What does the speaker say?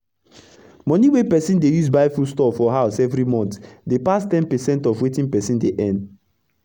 moni wey persin dey use buy foodstuff for house everi month dey pass ten percent of wetin persin dey earn